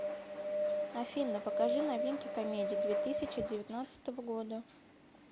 афина покажи новинки комедий две тысячи девятнадцатого года